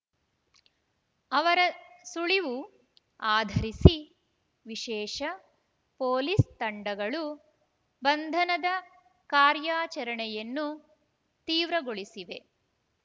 ಅವರ ಸುಳಿವು ಆಧರಿಸಿ ವಿಶೇಷ ಪೊಲೀಸ್ ತಂಡಗಳು ಬಂಧನದ ಕಾರ್ಯಾಚರಣೆಯನ್ನು ತೀವ್ರಗೊಳಿಸಿವೆ